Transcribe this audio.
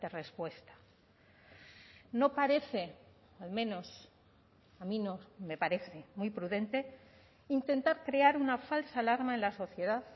respuesta no parece al menos a mí no me parece muy prudente intentar crear una falsa alarma en la sociedad